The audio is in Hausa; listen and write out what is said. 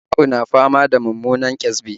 Asma'u na fama da mummunan ƙyasbi